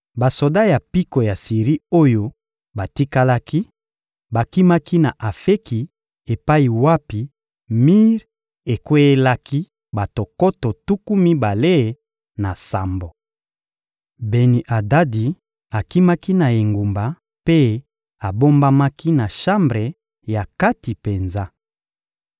Basoda ya mpiko ya Siri oyo batikalaki, bakimaki na Afeki epai wapi mir ekweyelaki bato nkoto tuku mibale na sambo. Beni-Adadi akimaki na engumba mpe abombamaki na shambre ya kati penza.